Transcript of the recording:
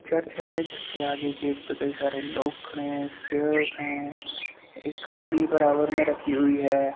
Church है। जिसके आगे गेट पे कई सारे लोग खड़े हैं। स्टेर्स हैं। एक सीढी बराबर मे रखी हुई है।